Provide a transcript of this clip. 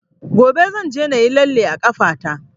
Gobe zan je na yi lalle a ƙafa ta